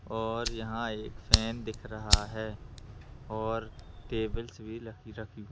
और यहाँ एक फैन दिख रहा हैऔर टेबल्स भी रखी --